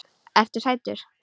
Ertu sætur?